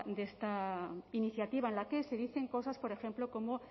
de esta iniciativa en la que se dicen cosas por ejemplo como